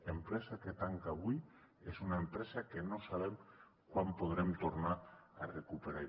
empresa que tanca avui és una empresa que no sabem quan podrem tornar a recuperar